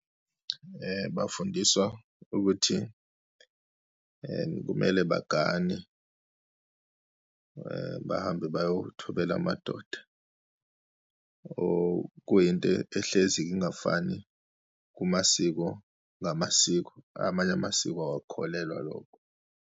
Bafundiswa ukuthi kumele bagane bahambe bayothobela amadoda, okuyinto ehlezi ingafani kumasiko ngamasiko. Amanye amasiko awakukholelwa lokho.